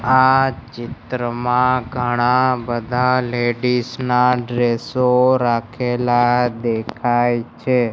આ ચિત્રમાં ઘણા બધા લેડીઝ ના ડ્રેસો રાખેલા દેખાય છે.